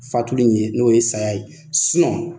Fatuli in ye , n'o ye saya ye.